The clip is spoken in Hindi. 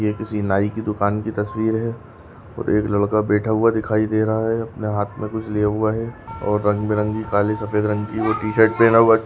ये किसी नाई की दुकान की तस्वीर है और एक लड़का बैठा हुआ दिखाई दे रहा है अपने हाथ में कुछ लिया हुआ है और रंगबी रंगी काळा टी शर्ट पहना हुआ--